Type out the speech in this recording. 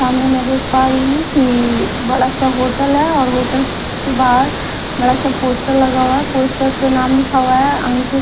सामने में देख पा रही हूं कि अ बड़ा सा होटल है और होटल के बाहर बड़ा सा पोस्टर लगा हुआ है पोस्टर पे नाम लिखा हुआ है अंकित--